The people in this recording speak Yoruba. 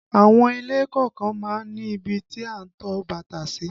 Àwọn ilé kọ̀ọ̀kan má ń ní ibi tí a ń to bàtà sí